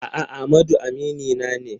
A'a, Amadu aminina ne.